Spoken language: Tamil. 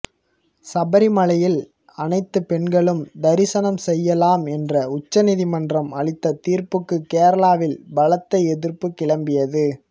சபரிமலையில் அனைத்துப் பெண்களும் தரிசனம் செய்யலாம் என்று உச்ச நீதிமன்றம் அளித்த தீர்ப்புக்கு கேரளாவில் பலத்த எதிர்ப்பு கிளம்பியது